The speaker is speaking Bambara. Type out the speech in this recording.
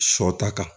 Sɔ ta kan